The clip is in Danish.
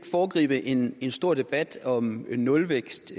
foregribe en stor debat om nulvækst